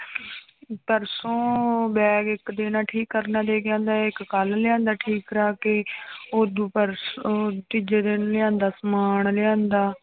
ਪਰਸੋਂ ਬੈਗ ਇੱਕ ਦਿਨ ਠੀਕ ਕਰਨ ਲੈ ਕੇ ਆਉਂਦਾ ਹੈ ਇੱਕ ਕੱਲ੍ਹ ਲਿਆਂਦਾ ਠੀਕ ਕਰਵਾ ਕੇ ਉਦੋਂ ਪਰਸੋਂ ਤੀਜਾ ਦਿਨ ਲਿਆਂਦਾ ਸਮਾਨ ਲਿਆਂਦਾ।